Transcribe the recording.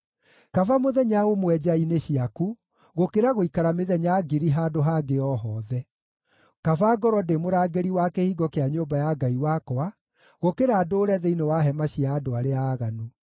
Kaba mũthenya ũmwe nja-inĩ ciaku, gũkĩra gũikara mĩthenya ngiri handũ hangĩ o hothe; kaba ngorwo ndĩ mũrangĩri wa kĩhingo kĩa nyũmba ya Ngai wakwa, gũkĩra ndũũre thĩinĩ wa hema cia andũ arĩa aaganu.